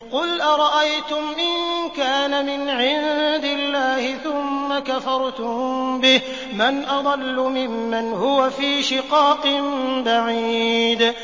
قُلْ أَرَأَيْتُمْ إِن كَانَ مِنْ عِندِ اللَّهِ ثُمَّ كَفَرْتُم بِهِ مَنْ أَضَلُّ مِمَّنْ هُوَ فِي شِقَاقٍ بَعِيدٍ